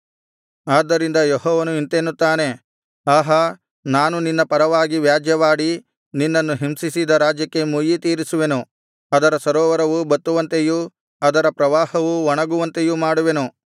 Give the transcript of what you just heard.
ಆದ್ದರಿಂದ ಯೆಹೋವನು ಇಂತೆನ್ನುತ್ತಾನೆ ಆಹಾ ನಾನು ನಿನ್ನ ಪರವಾಗಿ ವ್ಯಾಜ್ಯವಾಡಿ ನಿನ್ನನ್ನು ಹಿಂಸಿಸಿದ ರಾಜ್ಯಕ್ಕೆ ಮುಯ್ಯಿತೀರಿಸುವೆನು ಅದರ ಸರೋವರವು ಬತ್ತುವಂತೆಯೂ ಅದರ ಪ್ರವಾಹವು ಒಣಗುವಂತೆಯೂ ಮಾಡುವೆನು